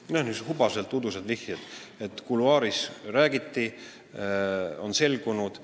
Need on niisugused hubaselt udused vihjed, et kuluaarides räägiti, et on selgunud jne.